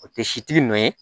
O tɛ sitigi nɔ ye